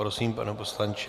Prosím, pane poslanče.